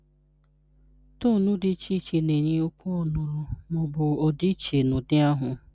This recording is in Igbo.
Tonu dị dị iche na-enye okwu ọ́nụ́rụ́ ma ọ bụ ọdịiche n’ụdị ahụ.